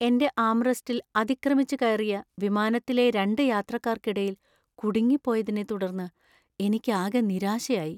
എന്‍റെ ആംറെസ്റ്റിൽ അതിക്രമിച്ചുകയറിയ വിമാനത്തിലെ രണ്ട് യാത്രക്കാർക്കിടയിൽ കുടുങ്ങിപ്പോയതിനെത്തുടർന്ന് എനിക്കാകെ നിരാശയായി .